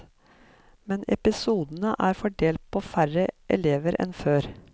Men episodene er fordelt på færre elever enn før.